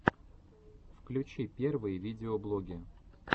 включи первые видеоблоги